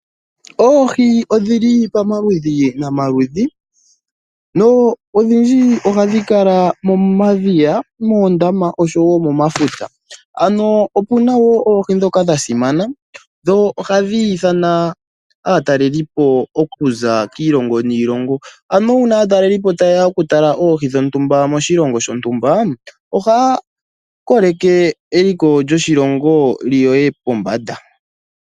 Oohi odhi li pamaludhi nomaludhi. Odhndji ohadhi kala momadhiya, moondama osho wo momafuta. Opu na wo oohi ndhoka dha simana dho ohadhi ithana aatalelipo okuza kiilongo niilongo. Uuna aatalelipo taye ya okutala oohi dhontumba moshilongo shontumba ohaya koleke eliko lyoshilongo li ye pombanda.